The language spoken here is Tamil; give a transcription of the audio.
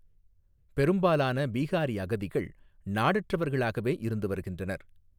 பெரும்பாலான பீஹாரி அகதிகள் நாடற்றவர்களாகவே இருந்து வருகின்றனர்.